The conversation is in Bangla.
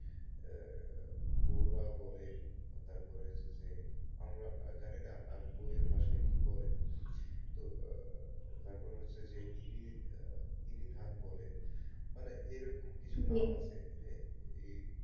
বইরা বলে তারপরে হচ্ছে যে আমরা জানিনা বই এর ভাষায় কি বলে তো তারপরে হচ্ছে যে ইরি, ইরি ধান বলে মানে এরকম কিছু ধান আছে যে,